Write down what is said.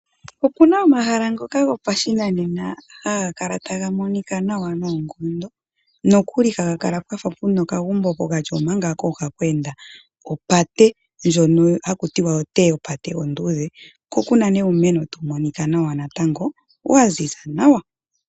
Opuna omahala ngoka gopashinanena haga kala taga monika nawa noonkondo, nokuli haga kala pwafa puna okagumbo pokati omanga kooha kweenda opate ndjoka hakuti oteyapate onduudhe. Ko kuna uumeno tawu monika nawa natango, waziza nawa.